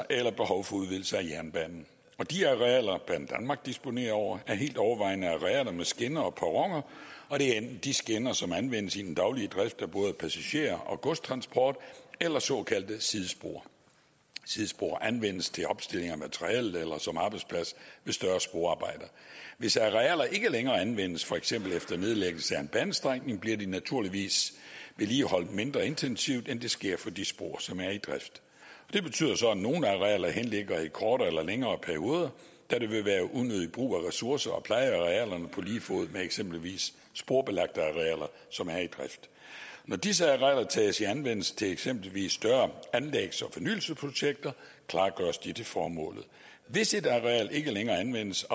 eller behov for udvidelse af jernbanen de arealer banedanmark disponerer over er helt overvejende arealer med skinner og perroner det er enten de skinner som anvendes i den daglige drift af både passager og godstransport eller såkaldte sidespor sidespor anvendes til opstilling af materiale eller som arbejdsplads ved større sporarbejder hvis arealer ikke længere anvendes for eksempel efter nedlæggelse af en banestrækning bliver de naturligvis vedligeholdt mindre intensivt end det sker for de spor som er i drift det betyder så at nogle arealer henligger i kortere eller længere perioder da det vil være unødig brug af ressourcer at pleje arealerne på lige fod med eksempelvis sporbelagte arealer som er i drift når disse arealer tages i anvendelse til eksempelvis større anlægs og fornyelsesprojekter klargøres de til formålet hvis et areal ikke længere anvendes